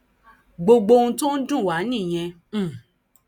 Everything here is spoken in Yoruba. gbogbo ohun tó ń dùn wá nìyẹn um